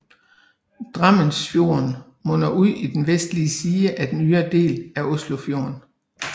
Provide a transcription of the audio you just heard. Drammensfjorden munder ud i den vestlige side af den ydre del af Oslofjorden